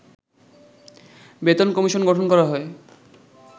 বেতন কমিশন গঠন করা হয়